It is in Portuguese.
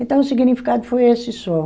Então o significado foi esse só.